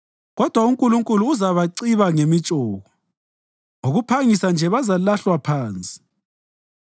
Kodwa uNkulunkulu uzabaciba ngemitshoko; ngokuphangisa nje bazalahlwa phansi.